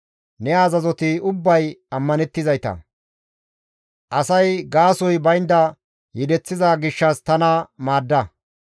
Ne azazoti ubbay ammanettizayta; asay gaasoy baynda yedeththiza gishshas tana maadda!